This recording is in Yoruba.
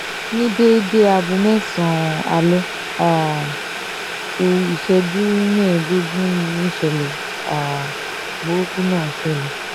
ní déédé aago mẹ́sàn-án alẹ́ um kù ìṣẹ́jú mẹ́ẹ̀ẹ́dógún níṣẹ̀lẹ̀ um burúkú náà ṣẹlẹ̀